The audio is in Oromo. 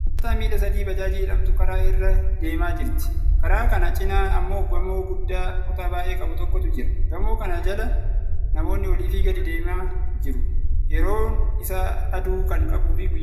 Konkolaataan miila sadii baajaajii jedhamtu kara irra deemaa jirti. Karaa kana cinaa ammoo gamoo guddaa kutaa baay'ee qabu tokkotu jira. gamoo kana jala namoonni olii fi gadi adeemaa jiru. Yeroon isaa aduu kan qabuu fi guyyaadha.